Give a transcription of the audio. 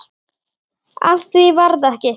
Af því varð ekki.